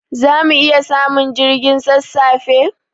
Zamu iya samun jirgin sassafe?